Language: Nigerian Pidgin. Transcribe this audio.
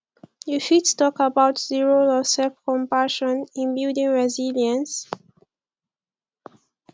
you fit talk about di role of selfcompassion in building resilience